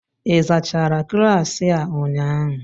ị zachara klaasị a ụnyaahụ?